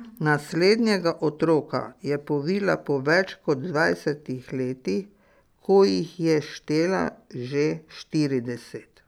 Naslednjega otroka je povila po več kot dvajsetih letih, ko jih je štela že štirideset.